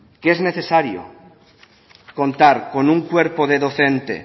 que es necesario contar con un cuerpo de docentes